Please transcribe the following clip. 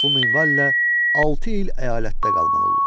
Bu minvalla altı il əyalətdə qalmalı olur.